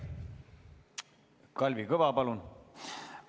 Kalvi Kõva, palun!